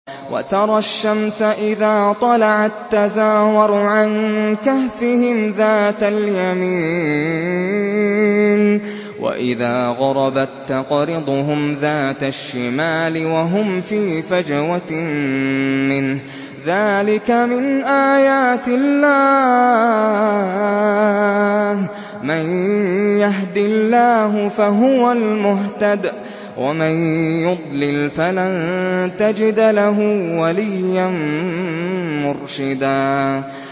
۞ وَتَرَى الشَّمْسَ إِذَا طَلَعَت تَّزَاوَرُ عَن كَهْفِهِمْ ذَاتَ الْيَمِينِ وَإِذَا غَرَبَت تَّقْرِضُهُمْ ذَاتَ الشِّمَالِ وَهُمْ فِي فَجْوَةٍ مِّنْهُ ۚ ذَٰلِكَ مِنْ آيَاتِ اللَّهِ ۗ مَن يَهْدِ اللَّهُ فَهُوَ الْمُهْتَدِ ۖ وَمَن يُضْلِلْ فَلَن تَجِدَ لَهُ وَلِيًّا مُّرْشِدًا